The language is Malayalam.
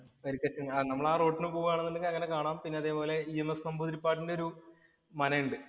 വരിക്ക നമ്മളാ റോഡിനു പോവാണെന്നുണ്ടെങ്കില്‍ അങ്ങനെ കാണാം. അതുപോലെ EMS നമ്പൂതിരിപ്പാടിന്‍റെ ഒരു മനയുണ്ട്.